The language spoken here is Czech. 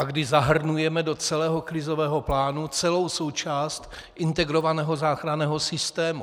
A když zahrnujeme do celého krizového plánu celou součást integrovaného záchranného systému.